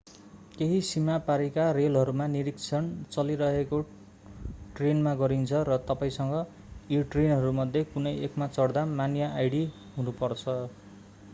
केहि सीमा पारीको रेलहरूमा निरीक्षण चलिरहेको ट्रेनमा गरिन्छ र तपाईंसँग ती ट्रेनहरूमध्ये कुनै एकमा चढ्दा मान्य आईडी हुनु पर्छ